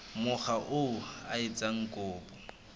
mokga oo a etsang kopo